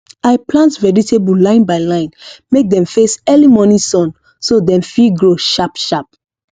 i plant vegetable line by line make dem face early morning sun so dem fit grow sharp sharp